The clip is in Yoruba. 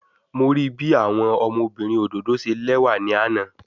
Mo rii bi awọn ọmọbirin ododo ṣe lẹwa ni ana